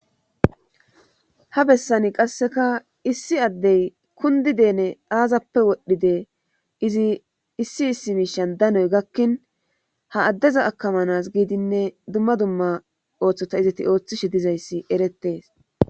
Ha bessani qasseka issi addey kundi deene aazappe wodhdhide izi issi issi miishan danoy gakkin ha addezo akamanas giidinne dumma dumma ooththota izati ooththishe dizayssi erettees.